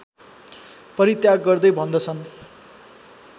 परित्याग गर्दै भन्दछन्